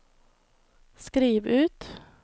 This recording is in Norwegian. skriv ut